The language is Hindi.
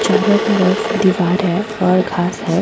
चारो तरफ दीवार है और घास है।